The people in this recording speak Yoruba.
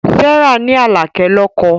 Serah ní Àáké lọkọ.